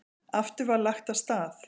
Aftur var lagt af stað.